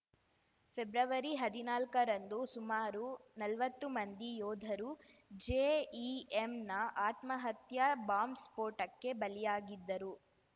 February ಹದ್ನಾಲ್ಕರಂದು ಸುಮಾರು ನಲ್ವತ್ತು ಮಂದಿ ಯೋಧರು ಜೆಇಎಂನ ಆತ್ಮಹತ್ಯಾ ಬಾಂಬ್ ಸ್ಫೋಟಕ್ಕೆ ಬಲಿಯಾಗಿದ್ದರು